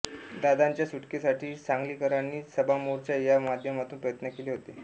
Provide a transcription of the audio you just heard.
दादांच्या सुटकेसाठी सांगलीकरांनी सभामोर्चा या माध्यमातून प्रयत्न केले होते